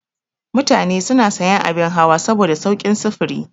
Mutane suna sayan abin hawa saboda saukin sufuri.